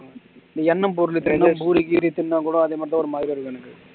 இந்த எண்ணெய் பொருள் இப்போ பூரி கீரி திண்ணா கூட அதே மாதிரி தான் ஒரு மாதிரியா இருக்கும் எனக்கு